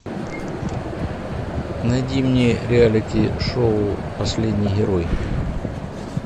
найди мне реалити шоу последний герой